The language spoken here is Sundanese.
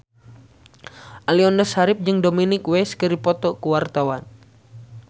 Aliando Syarif jeung Dominic West keur dipoto ku wartawan